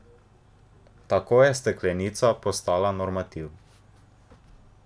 Tako je steklenica postala normativ.